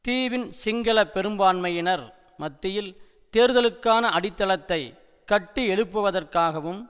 தீவின் சிங்கள பெரும்பான்மையினர் மத்தியில் தேர்தலுக்கான அடித்தளத்தை கட்டியெழுப்புவதற்காகவும்